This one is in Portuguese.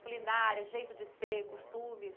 Culinária, jeito de ser, costumes?